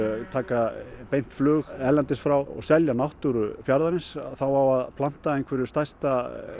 taka beint flug erlendis frá og selja náttúru fjarðarins þá á að planta einhverju stærsta